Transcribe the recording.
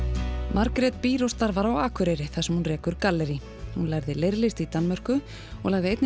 Margrét býr og starfar á Akureyri þar sem hún rekur gallerí hún lærði leirlist í Danmörku og lagði einnig